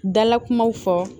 Dala kumaw fɔ